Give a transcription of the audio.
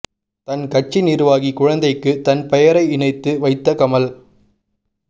தன் கட்சி நிர்வாகி குழந்தைக்கு தன் பெயரை இணைத்து வைத்த கமல்